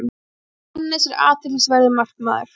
Hannes er athyglisverður markmaður.